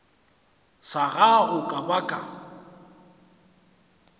sa gago ka ba ka